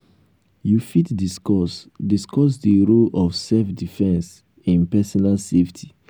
you fit discuss discuss di role of self-defense in personal safety.